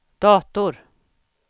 dator